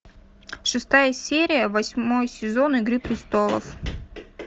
шестая серия восьмой сезон игры престолов